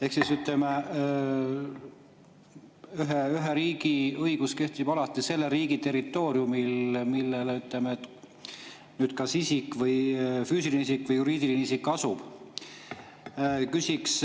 Ehk, ütleme, ühe riigi õigus kehtib alati selle riigi territooriumil, kus isik, füüsiline isik või juriidiline isik asub.